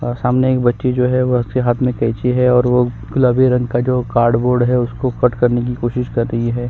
अ सामने एक बच्ची जो है उसके हाथ में कैंची हैं और वो गुलाबी रंग का जो कार्डबोर्ड है उसको कट करने की कोशिश कर रही हैं।